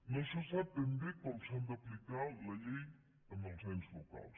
no se sap ben bé com s’ha d’aplicar la llei en els ens locals